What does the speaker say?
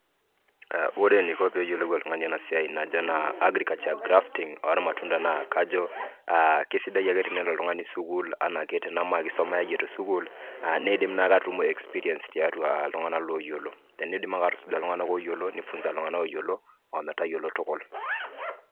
Ore eniko peyiolou oltungani ena siai najo naa, agriculture grafting ormatunda naa kajo eh kesidai ake tenelo oltungani sukuul naake enakisuma tesukuul nidim naake atutumo experience tiatua iltunganak loyioloi. Tenidim ake atusuja iltunganak oyiolo nifunza iltunganak oyiolo ometaba enaa neyiolou tukul.